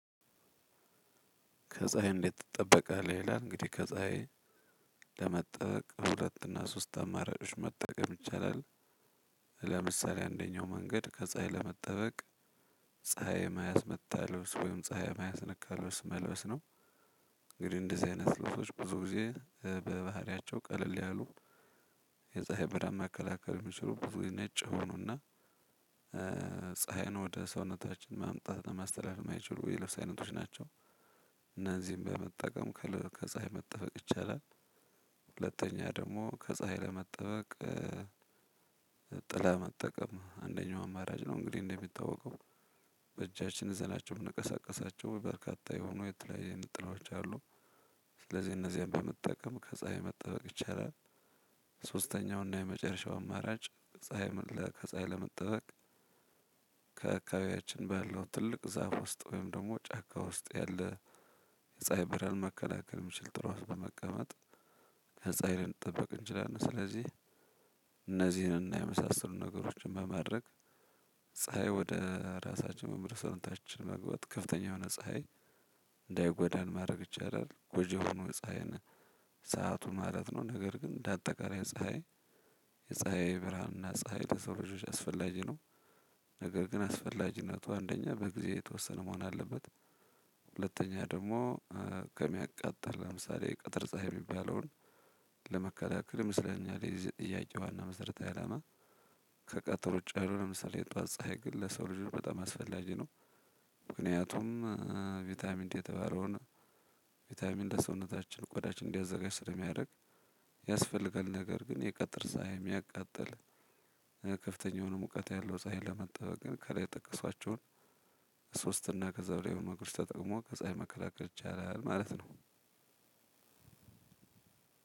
ከፀሀይ እንዴት ትጠበቃለህ? ይላል እንግዲህ ከፀሀይ ለመጠበቅ ሁለትና ሶስት አማራጭ መጠቀም ይቺላል። ለምሳሌ አንደኛው መንገድ ከፀሀይ ለመጠበቅ። ፀሀይ መያዝ መጣለሁ ወይም ፀሀይ መያዝ ነካለሁ ስመለስ ነው። እንግዲህ እንደህ አይነት ልብሶች ብዙ ጊዜ በባህሪያቸው ቀለልያሉ። የፀሃይብርሃን መከላከል እምቺሉ ብዙ ነጭ ይሆኑና። ፀሀይ ነው ወደ ሰውነታችን ማምጣት ለማስተላለፍ የማይችሉ የለብሰ አይነቶች ናቸው። እነዚህን በመጠቀም ከፀሀይ መጠበቅ ይቻላል። ሁለተኛ ደግሞ ከፀሀይ ለመጠበቅ። ጥላ መጠቀም አንደኛው አማራጭ ነው እንግዲህ እንደሚታወቀው ይዘናቸው ምንቀሳቀሳቸው በርካታ የሆኑ የጥላ ጥላወቺ አሉ። ስለዚህ እነዚህን በመጠቀም ከፀሀይ መጠበቅ ይቻላል። ሶስተኛው እና የመጨረሻው አማራጭ ፀሀይ ከፀሀይ ለመጠበቅ። ከአካባቢያችን ባለው ትልቅ ዛፍ ውስጥ ወይም ደግሞ ጫካ ውስጥ ያለ የፀሀይ ብርሃን መከላከል የሚችል ጥላውን በመቀመጥ ከፀሀይ ልንጠብቅ እንችላለን ስለዚህ። እነዚህንና የመሳሰሉ ነገሮችን በማድረግ ፀሀይ ወደ ራሳችን መምህር ሰውነታችን መግባት ከፍተኛ የሆነ ፀሀይ እንዳይጎዳን ማድረግ ይቻላል። ጎጅየሆነው ፀሀይ ሰዓቱ ማለትነው ነገርግን አንዳጠቃላይ ፀሀይ የፀሃይብርሃንና ፀሀይ ለሰዉልጆቺ አስፈላጊ ነው። ነገር ግን አስፈላጊነቱ አንደኛ በጊዜ የተወሰነ መሆን አለበት። ሁለተኛ ደግሞ ከሚያቃጥል ለምሳሌ ቅጥር ፀሀይ የሚባለውን ለመከላከል ይመስለኛል የዚህ ጥያቄ ዋና መሰረታዊአላማ። ከቀጠሮ ውጭ ያልሆነ የጧት ፀሀይ ለሰው ልጁ በጣም አስፈላጊ ነው። ምክንያቱም ቫይታሚንድ የተባለውን ቫይታሚንድ ለሰውነታችን ቆዳችን እንዲያዘጋጅ ስለሚያደርግ። ያስፈልጋል ነገር ግን የቀጥር ሳይም ያቃጠል። ከፍተኛ የሆነ ሙቀት ያለው ፀሀይን ለመጠበቅ ግን ከላይ የጠቀሷቸውን ሶስት እና ከዛ በላይ የሆነ ነገሮቺን ተጠቅሞ ከፀሀይ መከላከል ይቻላል ማለት ነው።